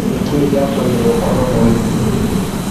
Nĩkĩ gĩatũmire ũkoro mũini.